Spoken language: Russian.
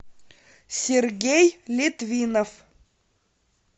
сергей литвинов